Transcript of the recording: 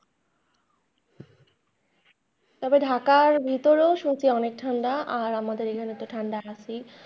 তবে ঢাকার ভিতরেও সত্যি অনেক ঠান্ডা, আর আমাদের এখানে তো ঠাণ্ডা আছেই।